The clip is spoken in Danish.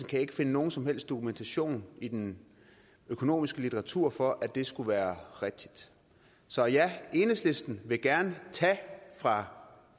kan ikke finde nogen som helst dokumentation i den økonomiske litteratur for at det skulle være rigtigt så ja enhedslisten vil gerne tage fra